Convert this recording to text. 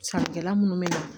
Sankɛla minnu bɛ na